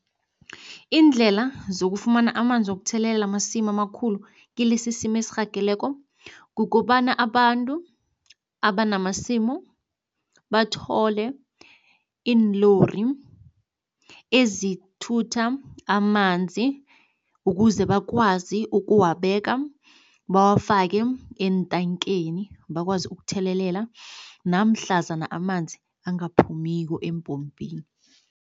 Iindlela zokufumana amanzi wokuthelelela amasimu amakhulu kilesisimo esirhageleko. Kukobana abantu abanamasimu, bathole iinlori ezithutha amanzi ukuze bakwazi ukuwabeka. Bawafake eentankeni bakwazi ukuthelelela namhlazana amanzi angaphumiko eempompini.